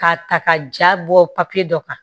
K'a ta ka ja bɔ papiye dɔ kan